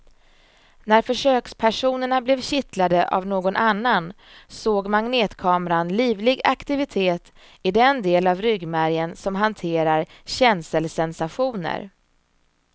När försökspersonerna blev kittlade av någon annan såg magnetkameran livlig aktivitet i den del av ryggmärgen som hanterar känselsensationer.